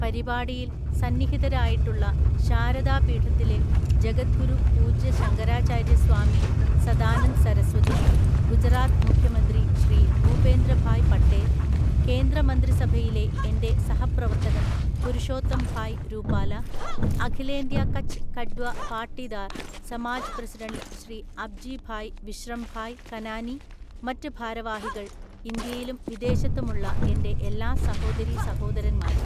പരിപാടിയില്‍ സന്നിഹിതരായിട്ടുള്ള ശാരദാപീഠത്തിലെ ജഗദ്ഗുരു പൂജ്യ ശങ്കരാചാര്യ സ്വാമി സദാനന്ദ് സരസ്വതി, ഗുജറാത്ത് മുഖ്യമന്ത്രി ശ്രീ ഭൂപേന്ദ്രഭായ് പട്ടേല്‍, കേന്ദ്ര മന്ത്രിസഭയിലെ എന്റെ സഹപ്രവർത്തകന്‍ പുരുഷോത്തം ഭായ് രൂപാല, അഖിലേന്ത്യ കച്ച് കഡ്വ പാട്ടിദാര്‍ സമാജ് പ്രസിഡന്റ് ശ്രീ അബ്ജി ഭായ് വിശ്രം ഭായ് കനാനി മറ്റ് ഭാരവാഹികള്‍ ഇന്ത്യയിലും വിദേശത്തുമുള്ള എന്റെ എല്ലാ സഹോദരീസഹോദരന്മാരെ!